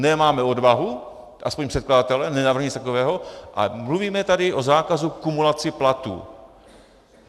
Nemáme odvahu, aspoň předkladatelé nenavrhli nic takového, ale mluvíme tady o zákazu kumulace platů.